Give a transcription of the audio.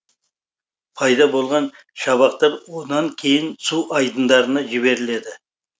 пайда болған шабақтар онан кейін су айдындарына жіберіледі